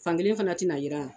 Fankelen fana tɛna jiran